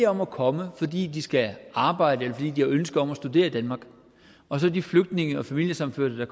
om at komme fordi de skal arbejde eller fordi de har ønske om at studere i danmark og så de flygtninge og familiesammenførte der